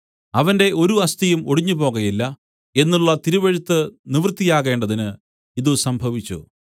അവന്റെ ഒരു അസ്ഥിയും ഒടിഞ്ഞുപോകയില്ല എന്നുള്ള തിരുവെഴുത്ത് നിവൃത്തിയാകേണ്ടതിന് ഇതു സംഭവിച്ചു